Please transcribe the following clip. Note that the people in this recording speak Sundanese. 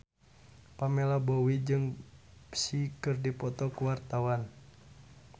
Pamela Bowie jeung Psy keur dipoto ku wartawan